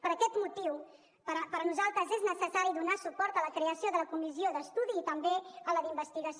per aquest motiu per nosaltres és necessari donar suport a la creació de la comissió d’estudi i també a la d’investigació